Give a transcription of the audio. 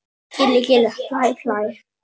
Gilli gilli hlæ hlæ.